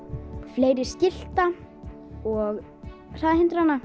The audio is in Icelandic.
fleiri skilta og hraðahindrana